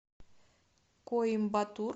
коимбатур